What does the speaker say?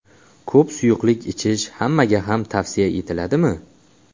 Ko‘p suyuqlik ichish hammaga ham tavsiya etiladimi?